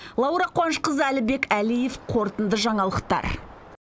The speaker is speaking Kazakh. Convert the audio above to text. лаура қуанышқызы әлібек әлиев қорытынды жаңалықтар